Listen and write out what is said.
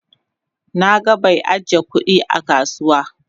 Na gan bai ajiya kudi a kasuwa.